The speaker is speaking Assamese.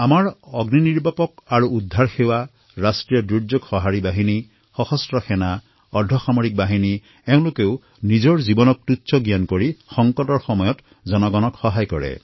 আমাৰ fire and rescue services national disaster response forces সশস্ত্ৰ সেনা পেৰামিলিটাৰী ফৰ্চেছ এওঁলোকেও সংকটৰ সময়ত উপস্থিত হোৱা বীৰ বাহাদুৰসকলে নিজৰ জীৱন বিপন্ন কৰিও লোকৰ সহায় কৰে